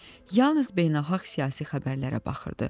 Yalnız beynəlxalq siyasi xəbərlərə baxırdı.